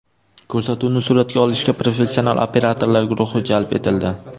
Ko‘rsatuvni suratga olishga professional operatorlar guruhi jalb etildi.